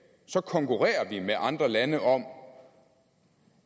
så konkurrerer vi med andre lande om